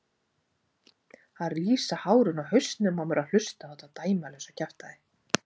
Það rísa hárin á hausnum á mér að hlusta á þetta dæmalausa kjaftæði.